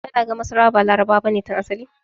Kana ga masarawa ba Larabawa bane tun asali?